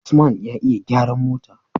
usman ya iya gyaran mota